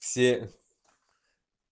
все